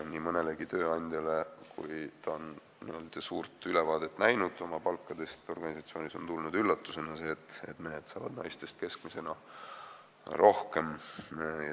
Nii mõnelegi tööandjale, kui ta on näinud n-ö suurt ülevaadet palkadest oma organisatsioonis, on tulnud üllatusena see, et mehed saavad naistest keskmisena rohkem.